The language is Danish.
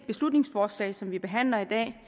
beslutningsforslag som vi behandler i dag